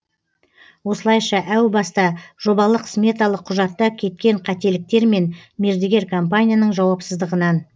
осылайша әу баста жобалық сметалық құжатта кеткен қателіктер мен мердігер компанияның жауапсыздығынан